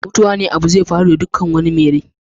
Mutuwa abune da zai faru da dukkan abu mai rai.